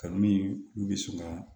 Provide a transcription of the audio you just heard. Kanu min bɛ sunɔgɔ